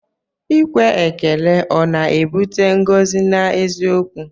Ikwe ekele ọ na-ebute ngọzi n'eziokwu?